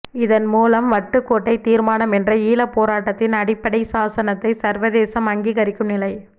இதன் மூலம் வட்டுக்கோட்டை தீர்மானம் என்ற ஈழப் போராட்டத்தின் அடிப்படைச் சாசனத்தை சர்வதேசம் அங்கீகரிக்கும் நிலை